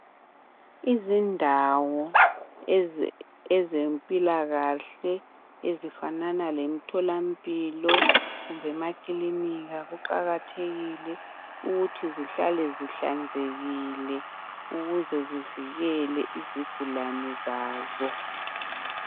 Izindawo ezempilakahle ezifanana lemtholampilo kumbe emakilinika kuqakathekile ukuthi zihlale zihlanzekile ukuze zivikele izigulane zazo